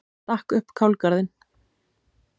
Stakk upp kálgarðinn.